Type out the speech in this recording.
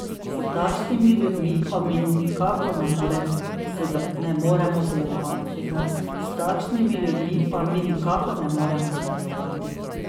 S takšnimi ljudmi pa mi nikakor ne moremo sodelovati!